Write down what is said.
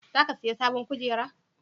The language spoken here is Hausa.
za ka saya sabon kujeru?